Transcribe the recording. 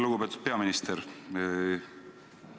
Lugupeetud peaminister!